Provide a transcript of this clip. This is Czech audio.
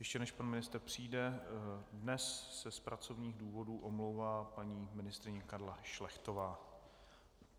Ještě než pan ministr přijde, dnes se z pracovních důvodů omlouvá paní ministryně Karla Šlechtová.